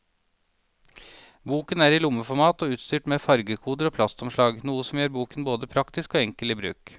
Boken er i lommeformat og utstyrt med fargekoder og plastomslag, noe som gjør boken både praktisk og enkel i bruk.